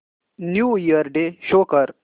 new year day show कर